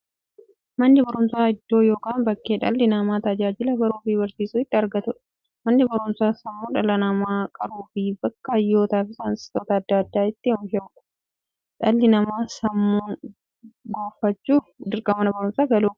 Manni baruumsaa iddoo yookiin bakkee dhalli namaa tajaajila baruufi barsiisuu itti argatuudha. Manni baruumsaa sammuu dhala namaa qaruufi bakka hayyootafi saayintistoota adda addaa itti oomishuudha. Dhalli namaa sammuun gufachuuf, dirqama Mana baruumsaa galuu qaba.